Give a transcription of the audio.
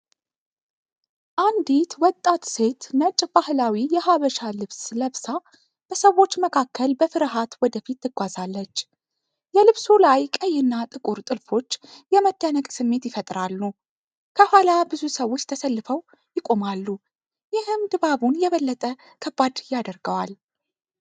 አንዲት ወጣት ሴት ነጭ ባህላዊ የሐበሻ ልብስ ለብሳ በሰዎች መካከል በፍርሃት ወደ ፊት ትጓዛለች። የልብሱ ላይ ቀይና ጥቁር ጥልፎች የመደነቅ ስሜት ይፈጥራሉ። ከኋላ ብዙ ሰዎች ተሰልፈው ይቆማሉ፤ ይህም ድባቡን የበለጠ ከባድ ያደርገዋል።